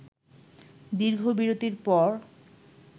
দীর্ঘ বিরতির পর